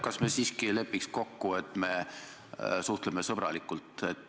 Kas me siiski ei lepiks kokku, et suhtleme sõbralikult?